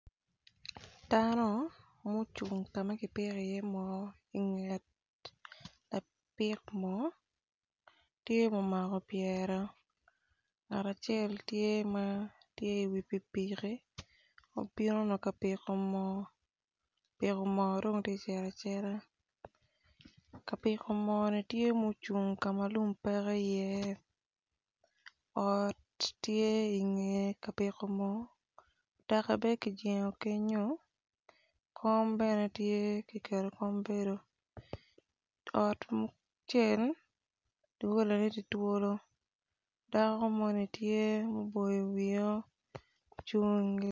Dano ma ocung i nget ka ma kipiko tye ma omako pyere ngat acel ma i wi piki piki ma obino ka piko dok tye kacito acita ka piko mo ni tye ocung kama lum peiye, ot tye i nge ka piko mo mutoka bene kijengo kenyu.